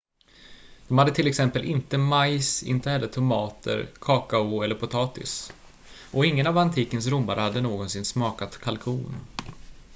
de hade till exempel inte majs inte heller tomater kakao eller potatis och ingen av antikens romare hade någonsin smakat kalkon